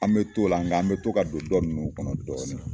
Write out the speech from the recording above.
An bɛ t'o la nka an an bɛ to ka don dɔ ninnu kɔnɔna na dɔɔnin